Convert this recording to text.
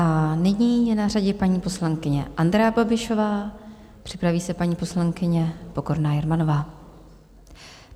A nyní je na řadě paní poslankyně Andrea Babišová, připraví se paní poslankyně Pokorná Jermanová.